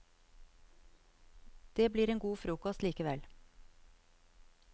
Det blir en god frokost likevel.